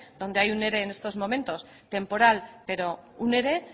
donde hay un ere en estos momentos temporal pero un ere